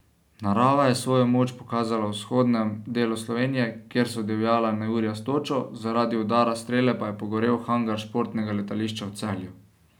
Narava je svojo moč pokazala v vzhodnem delu Slovenije, kjer so divjala neurja s točo, zaradi udara strele pa je pogorel hangar športnega letališča v Celju.